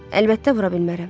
Əlbəttə, vura bilmərəm.